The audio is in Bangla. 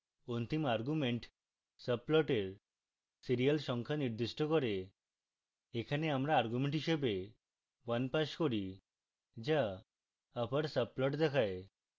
অন্তিম argument সাবপ্লটের serial সংখ্যা নির্দিষ্ট করে